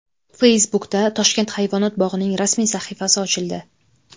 Facebook’da Toshkent hayvonot bog‘ining rasmiy sahifasi ochildi.